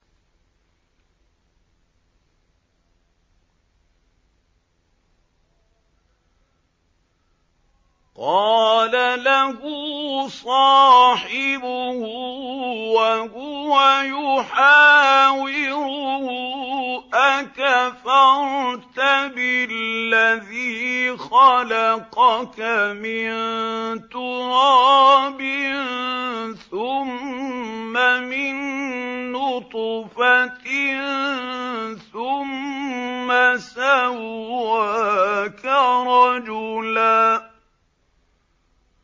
قَالَ لَهُ صَاحِبُهُ وَهُوَ يُحَاوِرُهُ أَكَفَرْتَ بِالَّذِي خَلَقَكَ مِن تُرَابٍ ثُمَّ مِن نُّطْفَةٍ ثُمَّ سَوَّاكَ رَجُلًا